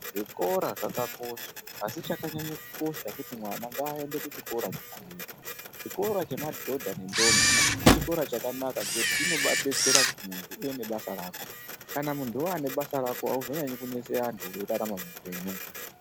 Zvikora zvkakosha asi chakanyanya kukosha ndechekuti mwana ngaaende kuchikora chepadera chikora chemadhodha nendombi chikora chakanaka ngekuti chinobaadetsera kuti munthu uwewo nebasa rako kana munthu waane basa rako auzonyanyi kunese anthu weirarama muupenyu.